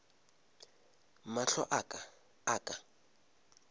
mahlo a ka a ka